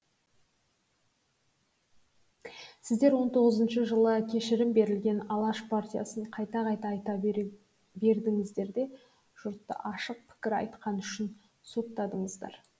сіздер он тоғызыншы жылы кешірім берілген алаш партиясын қайта қайта айта бердіңіздер де жұртты ашық пікір айтқаны үшін соттадыңыздар